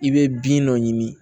I bɛ bin dɔ ɲini